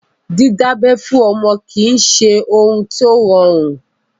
Dídábẹ́ fún ọmọ kìí ṣe ohun tó rọrùn.